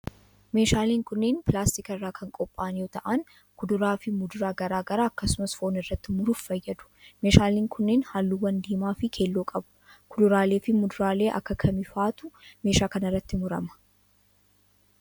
Meeshaaleen kunneen ,pilaastika irraa kan qopha'an yoo ta'an ,kuduraa fi muduraa garaa garaa akkasumas foon irratti muruuf fayyadu. Meeshaaleen kuunneen, haalluuwwan diimaa fi keelloo qabu. Kuduraalee fi muduraalee akka kamii faatu meeshaa kana irratti murama?